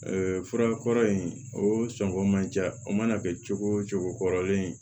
fura kɔrɔ in o sɔngɔ ma ja o mana kɛ cogo o cogo kɔrɔlen